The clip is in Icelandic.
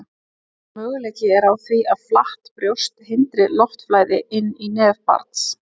Möguleiki er á því að flatt brjóst hindri loftflæði inn í nef barns.